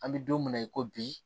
An bɛ don min na i ko bi